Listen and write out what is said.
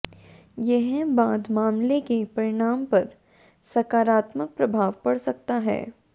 यह बाद मामले के परिणाम पर सकारात्मक प्रभाव पड़ सकता है